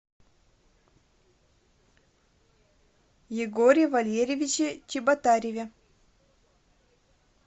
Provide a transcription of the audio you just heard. егоре валерьевиче чеботареве